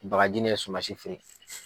Bagaji ni suma si feere.